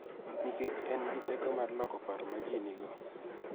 Nikech en gi teko mar loko paro ma ji nigo .